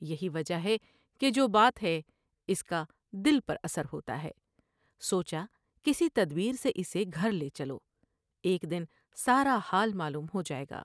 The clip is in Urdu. یہی وجہ ہے کہ جو بات ہے اس کا دل پر اثر ہوتا ہے ۔سوچا کسی تدبیر سے اسے گھر لے چلو ، ایک دن سارا حال معلوم ہو جاۓ گا ۔